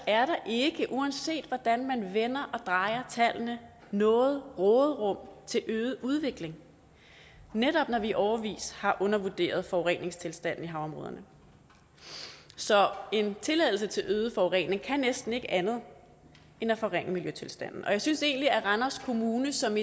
er der ikke uanset hvordan man vender og drejer tallene noget råderum til øget udledning netop når vi i årevis har undervurderet forureningstilstanden i havområderne så en tilladelse til øget forurening kan næsten ikke andet end at forringe miljøtilstanden jeg synes egentlig at randers kommune som